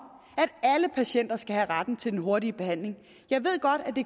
at alle patienter skal have retten til den hurtige behandling jeg ved godt at